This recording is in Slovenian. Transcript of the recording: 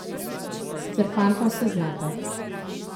Sicer fanta vse znata.